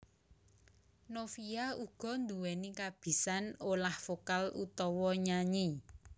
Novia uga nduwéni kabisan olah vokal utawa nyanyi